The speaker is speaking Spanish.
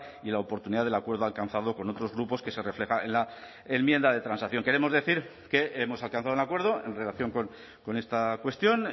y la oportunidad del acuerdo alcanzado con otros grupos que se refleja en la enmienda de transacción queremos decir que hemos alcanzado un acuerdo en relación con esta cuestión